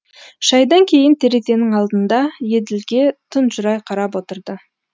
шайдан кейін терезенің алдында еділге тұнжырай қарап отырды